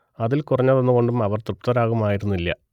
അതിൽ കുറഞ്ഞതോന്നുകൊണ്ടും അവർ തൃപ്തരാകുമായിരുന്നില്ല